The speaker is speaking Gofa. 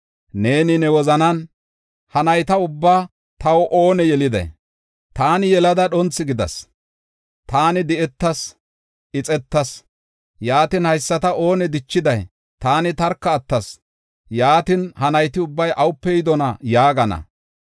Neeni ne wozanan, “Ha nayta ubbaa taw oone yeliday? Taani yelada dhonthu gidas; taani di7etas, ixetas. Yaatin, haysata oone dichiday? Taani tarka attas; yaatin ha nayti ubbay awupe yidona? yaagana.”